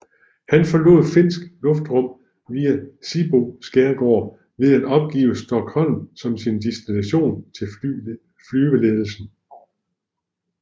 Han forlod finsk luftrum via Sibbo skærgård ved at opgive Stockholm som sin destination til flyveledelsen